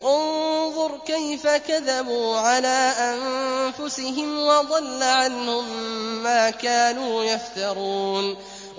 انظُرْ كَيْفَ كَذَبُوا عَلَىٰ أَنفُسِهِمْ ۚ وَضَلَّ عَنْهُم مَّا كَانُوا يَفْتَرُونَ